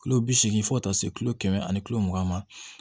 Kilo bi seegin fɔ ka taa se kilo kɛmɛ ani mugan ma